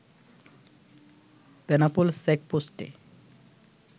Benapole চেকপোষ্টে